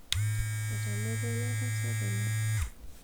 etamorua inatasat oleng'